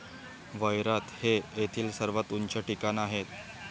वैरात हे येथील सर्वात उंच ठिकाण आहे.